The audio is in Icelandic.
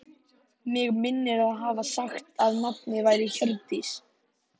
Mig minnir að hann hafi sagt að nafnið væri Hjördís.